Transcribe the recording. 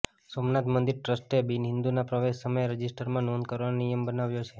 સોમનાથ મંદિર ટ્રસ્ટે બિનહિન્દુના પ્રવેશ સમયે રજિસ્ટરમાં નોંધ કરવાનો નિયમ બનાવ્યો છે